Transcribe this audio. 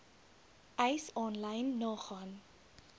eis aanlyn nagaan